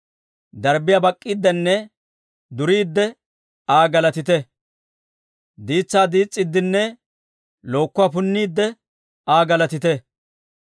Darbbiyaa bak'k'iiddenne duriide, Aa galatite; Diitsaa diis's'iiddinne lookkuwaa punniidde, Aa galatite.